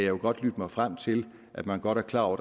jo godt lytte mig frem til at man godt er klar over